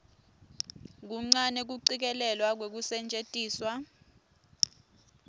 kuncane kucikelelwa kwekusetjentiswa